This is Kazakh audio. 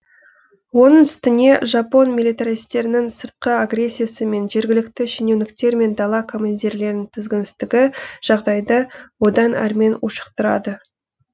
оның үстіне жапон миллитаристерінің сыртқы агрессиясы мен жергілікті шенеуніктер мен дала командирлерінің тізгінсіздігі жағдайды одан әрмен ушықтырады